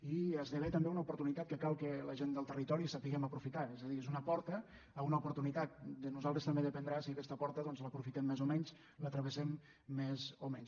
i esdevé també una oportunitat que cal que la gent del territori sapiguem aprofitar és a dir és una porta a una oportunitat de nosaltres també dependrà si aquesta porta doncs l’aprofitem més o menys la travessem més o menys